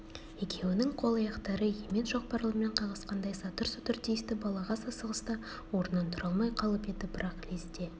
екеуінің қол-аяқтары емен шоқпарлармен қағысқандай сатыр-сұтыр тиісті балағаз асығыста орнынан тұра алмай қалып еді бірақ лезде